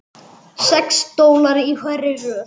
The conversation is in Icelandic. Sex stólar í hverri röð.